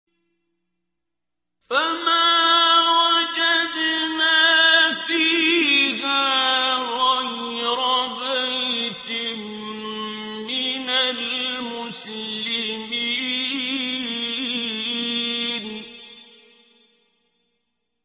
فَمَا وَجَدْنَا فِيهَا غَيْرَ بَيْتٍ مِّنَ الْمُسْلِمِينَ